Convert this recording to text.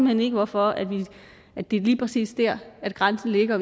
hen ikke hvorfor det er lige præcis der grænsen ligger